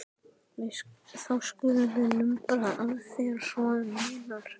Þá skulum við lumbra á þér svo um munar